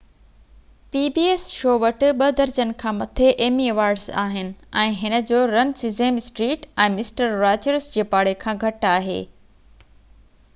pbs show وٽ ٻہ درجن کان مٿي ايمي ايوارڊز آهن ۽ هن جو run Sesame Street ۽ Mister Rogers جي پاڙي کان گهٽ آهي